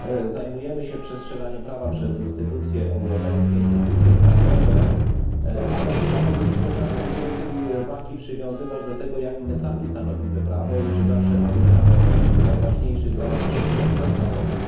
Zajmujemy się przestrzeganiem prawa przez instytucje europejskie, instytucje krajowe, ale chyba powinniśmy czasem więcej wagi przywiązywać do tego, jak my sami stanowimy prawo i czy zawsze pamiętamy o najważniejszych dla nas przepisach traktatowych.